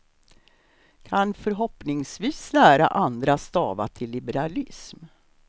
Kan förhoppningsvis lära andra stava till liberalism.